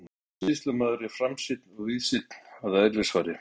Góður kaupsýslumaður er framsýnn og víðsýnn að eðlisfari.